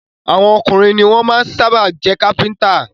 Àwọn ọkùnrin ni wọ́n sábà máa jẹ́ Kápẹ́ńtà.